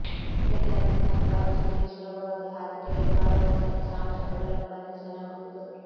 ರಿಟಾರ್ಟಿನ ತಂಪಾದ ತುದಿಗೆ ಸುಲಭವಾಗಿ ಹಾಕಿ ತೆಗೆದು ಮಾಡಬಹುದಾದ ಸಾಂದ್ರಕಗಳನ್ನು ಬಂಧಿಸಲಾಗುವುದು